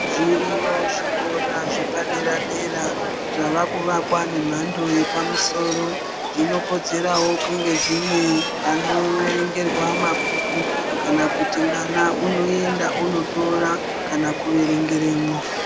Zviroyo zvikora zvepadera-dera, zvavakuvakwa nemhando yepamusoro. Zvino kodzeravo kunge zvine panoverengerwa mabhuku kana kuti mwana unoenda onotora kana kuverengeremwo.